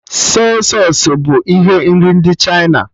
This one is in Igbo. Sọy sausụ bụ ihe nri ndị Chịna